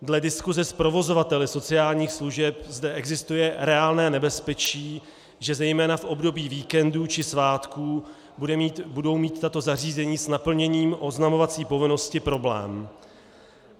Dle diskuse s provozovateli sociálních služeb zde existuje reálné nebezpečí, že zejména v období víkendů či svátků budou mít tato zařízení s naplněním oznamovací povinnosti problém.